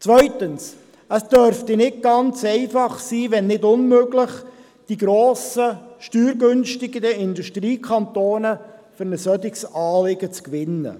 Zweitens: Es dürfte nicht ganz einfach sein, wenn nicht sogar unmöglich, die grossen, steuergünstigeren Industriekantone für ein solches Anliegen zu gewinnen.